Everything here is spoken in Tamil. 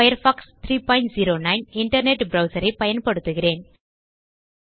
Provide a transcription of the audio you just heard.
பயர்ஃபாக்ஸ் 309 இன்டர்நெட் ப்ரவ்சர் ஐ பயன்படுத்துகிறேன்